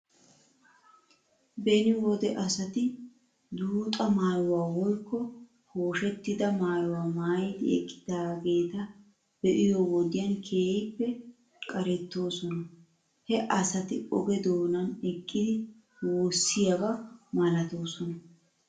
Beni wode asati duuxa maayuwaa woykko pooshettida maayuwaa maayidi eqqidaageeta be'iyoo wodiyan keehippe qarettoosona. He asati oge doonan eqqidi woossiyaaba malatoosona.